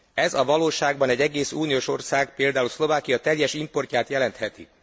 Ez a valóságban egy egész uniós ország, például Szlovákia teljes importját jelentheti.